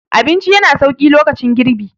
abinci yana sauki lokacin girbi